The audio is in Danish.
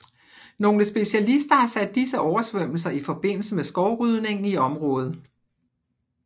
Nogle specialister har sat disse oversvømmelser i forbindelse med skovrydningen i området